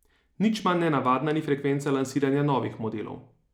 Nič manj nenavadna ni frekvenca lansiranja novih modelov.